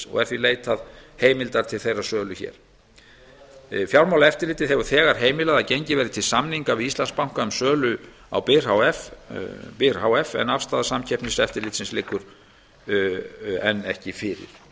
og er því leitað heimildar til þeirrar sölu hér fjármálaeftirlitið hefur þegar heimilað að gengið verði til samninga við íslandsbanka um sölu á byr h f en afstaða samkeppniseftirlitsins liggur enn ekki fyrir